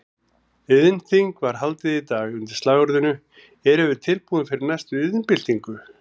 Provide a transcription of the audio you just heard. Iðnþing var haldið í dag undir slagorðinu Erum við tilbúin fyrir næstu iðnbyltingu?